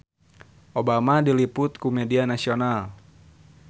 Obama diliput ku media nasional